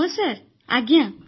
ହଁ ସାର୍ ହଁ ସାର୍